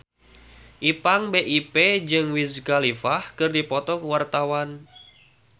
Ipank BIP jeung Wiz Khalifa keur dipoto ku wartawan